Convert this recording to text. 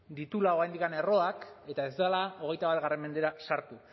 dituela oraindik erroak eta ez dela hogeita bat mendera sartu